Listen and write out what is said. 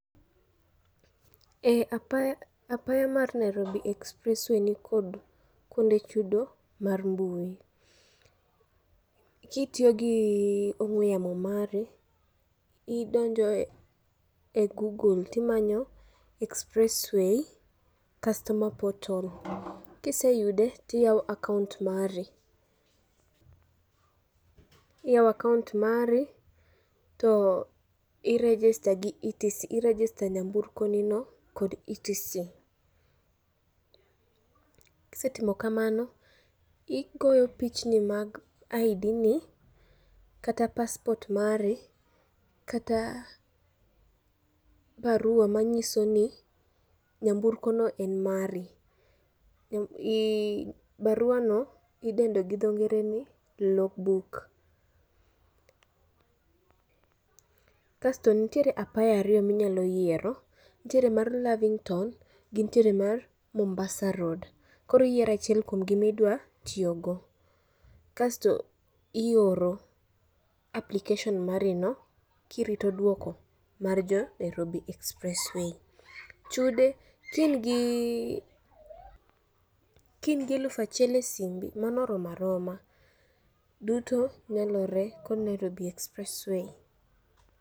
E apaya, apaya ma Nairobi Expressway ni kod kuonde chudo mar mbui. Kitiyo gi ong'we yamo mari, idonjo e Google timanyo Expressway Customer Portal. Kiseyude tiyawo akaont mari, iyawo akaont mari to i register gi irejista nyamburko nino kod etisen. Kisetimo kamano, igoyo pichni mag ID ni kata passport mari, kata barua manyiso ni nyamburko no mari. Barua no idendo gi dho ngere ni logbook. Kasto nitiere apaya ariyo minyalo yiero, nitiere mar Lavington, gi nitiere mar Mombasa Road. Koro iyiero achiel kuomgi midwa tiyogo, kasto ioro application mari no, kirito dwoko mar jo Nairobi Expressway. Chude kiin gi kiingi elufachiel e simbi, mano oroma roma. Duto nyalore kod Nairobi Expressway.